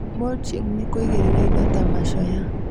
Mulching nĩ kũigĩrĩra indo ta macoya